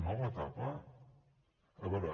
nova etapa a veure